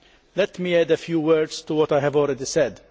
Let me add a few words to what I have already said.